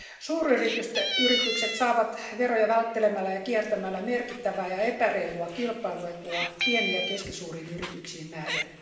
Suuryritykset saavat veroja välttelemällä ja kiertämällä merkittävää ja epäreilua kilpailuetua pieniin ja keskisuuriin yrityksiin nähden.